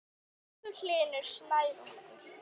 Elsku Hlynur Snær okkar.